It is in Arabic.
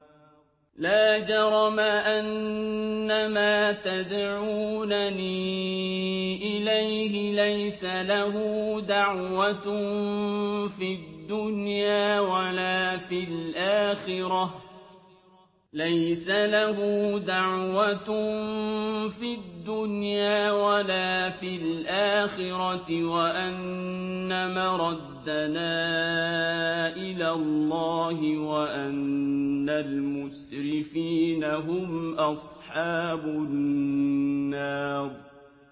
لَا جَرَمَ أَنَّمَا تَدْعُونَنِي إِلَيْهِ لَيْسَ لَهُ دَعْوَةٌ فِي الدُّنْيَا وَلَا فِي الْآخِرَةِ وَأَنَّ مَرَدَّنَا إِلَى اللَّهِ وَأَنَّ الْمُسْرِفِينَ هُمْ أَصْحَابُ النَّارِ